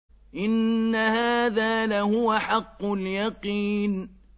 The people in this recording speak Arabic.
إِنَّ هَٰذَا لَهُوَ حَقُّ الْيَقِينِ